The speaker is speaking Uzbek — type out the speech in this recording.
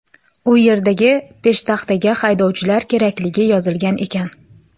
U yerdagi peshtaxtaga haydovchilar kerakligi yozilgan ekan.